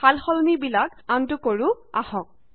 সালসলনি বিলাক আনডু কৰো আহক